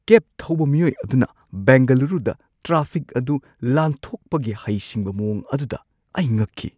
ꯀꯦꯕ ꯊꯧꯕ ꯃꯤꯑꯣꯏ ꯑꯗꯨꯅ ꯕꯦꯡꯒꯂꯨꯔꯨꯗ ꯇ꯭ꯔꯥꯐꯤꯛ ꯑꯗꯨ ꯂꯥꯟꯊꯣꯛꯄꯒꯤ ꯍꯩꯁꯤꯡꯕ ꯃꯑꯣꯡ ꯑꯗꯨꯗ ꯑꯩ ꯉꯛꯈꯤ꯫